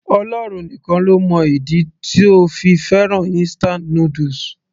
Ọlọ́run nìkan ló mọ ìdí tó fi fẹ́ràn instant noodles